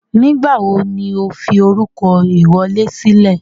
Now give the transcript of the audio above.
Nígbàwo ni o fi orúkọ ìwọlé sílẹ̀?